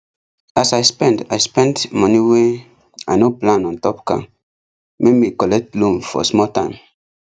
as i spend i spend money wey ino plan ontop car make me collect loan for small time